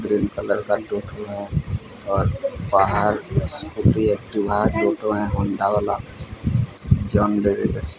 green colour का टोटो है और बाहर स्कूटी एक्टिवा टोटो है होंडा वाला जंग --